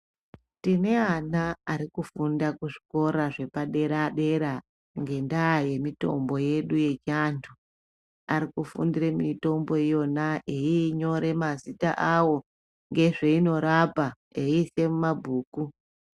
Tine ana ari kufunda kuzvikora zvepadera-dera, ngendaa yemitombo yedu yechiantu. Ari kufundire mitombo iyona eyiinyore mazita awo, ngezveinorapa, eiise mumabhuku.